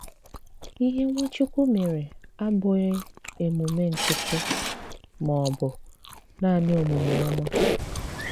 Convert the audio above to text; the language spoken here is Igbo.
Ìhè Nwachukwu mèré àbụ̀ghi emùmè nkìtíí mà ọ̀ bụ̀ naanị òmùmè òmá.